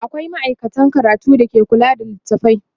akwia maaikata a ɗakin karatu da ke kula da littatafai